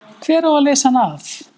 Hver á að leysa hann af?